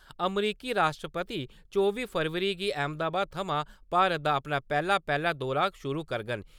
अमरीकी राश्ट्रपति चौबी फरवरी गी अहमदाबाद थमां भारत दा अपना पैह्ला-पैह्ला दौरा शुरू करङन।